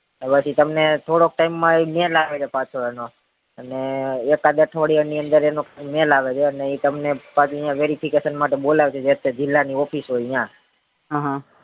હવે થી તમને થોડીક time માં તમને mail આવે નો અને ઈક આડ અઠવાડિયા ની અંદર એનો mail આવે છે ઈ તમને પછી verification માટે બોલાવશે જે તે જીલ્લા ની office હોય ત્યાં હહ